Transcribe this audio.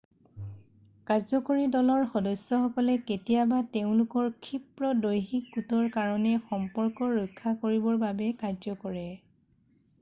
কাৰ্যকৰী দলৰ সদস্যসকলে কেতিয়াবা তেওঁলোকৰ ক্ষীপ্ৰ দৈহিক গোটৰ কাৰণে সম্পৰ্ক ৰক্ষা কৰিবৰ বাবে কাৰ্য কৰে